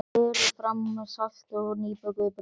Berið fram með salati og nýbökuðu brauði.